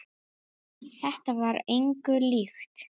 Þetta var engu líkt.